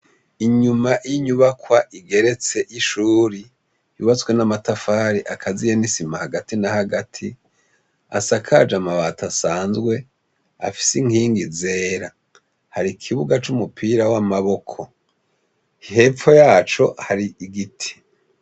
Inyuma y'inyubakwa igeretse y'ishure yubatswe n'amatafari akaziye n'isima hagati na hagati asakaje amabati asanzwe afise inkingi zera har'ikibuga c'umupira w'amaboko hepfo yacu hari igiti.